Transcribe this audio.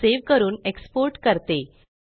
file save करून export करते